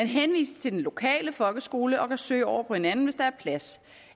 henvises til den lokale folkeskole og kan søge over på en anden hvis der er plads